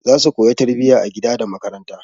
Za su koya tarbiyya a gida da makaranta.